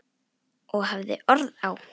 Og hafði orð á.